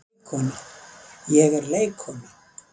Ég er leikkona.